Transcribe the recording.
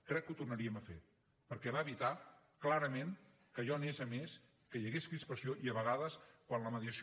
crec que ho tornaríem a fer perquè va evitar clarament que allò anés a més que hi hagués crispació i a vegades quan la mediació